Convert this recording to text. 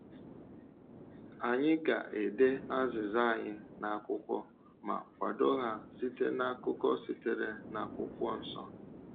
Anyị ga-ede azịza anyị n’akwụkwọ ma kwado ha site n’akụkọ sitere n’akwụkwọ nsọ.